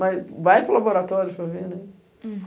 Mas vai para laboratório para ver, né?